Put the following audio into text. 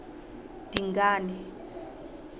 dingane